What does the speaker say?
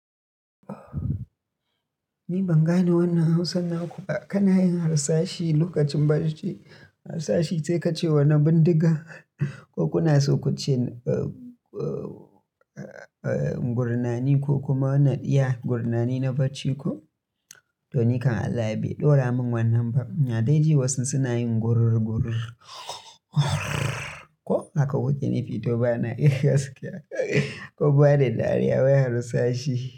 Ni ban gane wannan Hausar na ku ba. Kana yin harsashi lokacin bacci, harsashi sai ka ce wani bindiga ko kuna so ku ce, eh, eh, eh, gurnani ko kuma ya gurnani na bacci ko? To ni kam Allah bai ɗora mun wannan ba. Ina de ji wasu suna yin gurnani ko haka kuke nufi to bana yi gaskiya kun bani dariya wai harsashi.